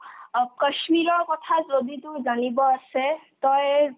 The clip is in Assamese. অ কশ্মীৰৰ কথা যদি তোৰ জানিব আছে তই